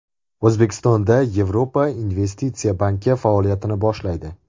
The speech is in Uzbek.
O‘zbekistonda Yevropa investitsiya banki faoliyatini boshlaydi.